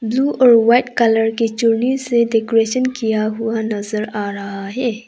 Blue और white colour की चुन्नी से डेकोरेशन किया हुआ नजर आ रहा है।